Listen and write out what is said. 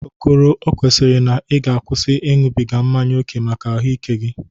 Okoro, o kwesiri na ị ga-akwụsị ịñụbịga mmanye oke maka ahụ ike gị.